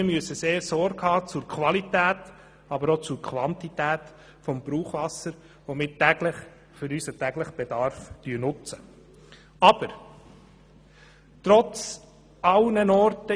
Wir müssen also der Qualität und der Quantität des Brauchwassers für unseren täglichen Bedarf Sorge tragen.